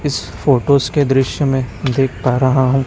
इस फोटोज़ के दृश्य में देख पा रहा हूं।